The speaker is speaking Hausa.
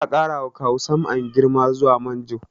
Za a ƙara wa Kawu Sam'an girma zuwa manjo